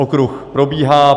Okruh probíhá.